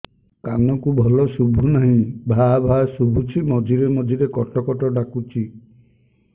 କାନକୁ ଭଲ ଶୁଭୁ ନାହିଁ ଭାଆ ଭାଆ ଶୁଭୁଚି ମଝିରେ ମଝିରେ କଟ କଟ ଡାକୁଚି